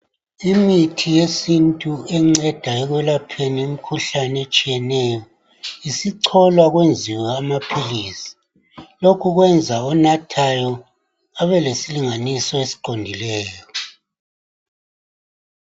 Imithi yesintu encedayo ekwelapheni, imikhuhlane etshiyeneyo. Isicholwa, kwenziwe amaphilisi. Lokhu kwenza onathayo, abelesilinganiso, esiqondileyo.